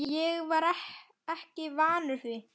Ég var ekki vanur því.